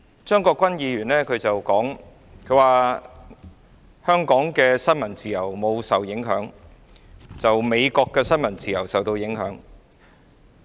張國鈞議員說香港的新聞自由沒有受到影響，美國的新聞自由卻受到影響。